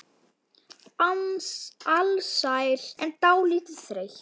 Alsæl en dálítið þreytt.